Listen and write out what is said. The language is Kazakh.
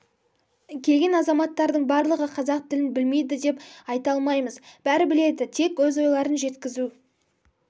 келген азаматтардың барлығы қазақ тілін білмейді деп айта алмаймыз бәрі біледі тек өз ойларын жеткізу